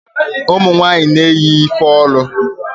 ụmụnwanyị na-eyi ifeolu